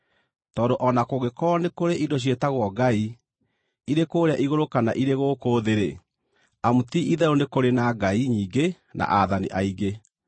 Tondũ o na kũngĩkorwo nĩ kũrĩ indo ciĩtagwo ngai, irĩ kũũrĩa igũrũ kana irĩ gũkũ thĩ-rĩ, amu ti-itherũ nĩ kũrĩ na “ngai” nyingĩ na “aathani” aingĩ,